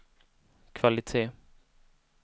kvalitet